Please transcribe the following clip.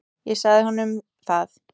Ég sagði honum það!